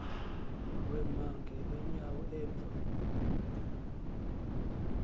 wema ngeenyawo emva